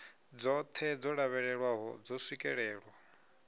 dzoṱhe dzo lavhelelwaho dzo swikelelwa